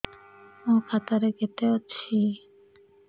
ମୋ ଖାତା ରେ କେତେ ଅଛି